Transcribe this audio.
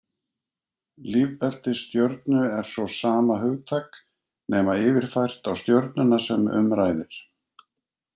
Lífbelti stjörnu er svo sama hugtak, nema yfirfært á stjörnuna sem um ræðir.